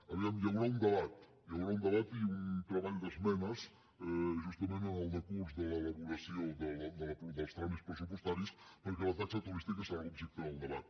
a veure hi haurà un debat hi haurà un debat i un treball d’esmenes justament en el decurs de l’elaboració dels tràmits pressupostaris perquè la taxa turística serà l’objecte del debat